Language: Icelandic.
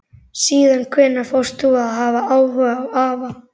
Síðan hvenær fórst þú að hafa áhuga á afa?